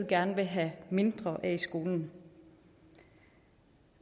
gerne vil have mindre af i skolen